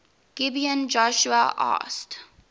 gibeon joshua asked